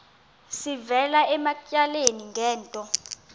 sivela ematyaleni ngento